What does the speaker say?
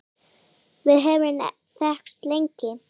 Við höfum þekkst lengi